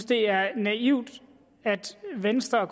det er naivt at venstre og